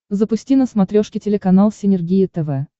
запусти на смотрешке телеканал синергия тв